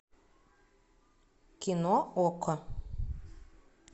кино окко